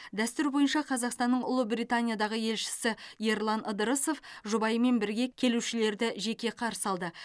дәстүр бойынша қазақстанның ұлыбританиядағы елшісі ерлан ыдырысов жұбайымен бірге келушілерді жеке қарсы алды